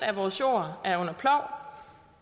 af vores jord